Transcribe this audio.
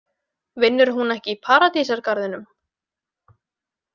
Vinnur hún ekki í Paradísargarðinum?